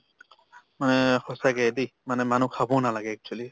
মানে সঁচাকে দেই মানে মানুহ খাবও নালাগে actually